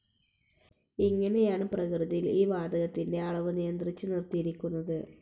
ഇങ്ങനെയാണ്‌ പ്രകൃതിയിൽ ഈ വാതകത്തിന്റെ അളവ്‌ നിയന്ത്രിച്ച്‌ നിർത്തിയിരിക്കുന്നത്‌.